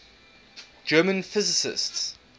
german physicists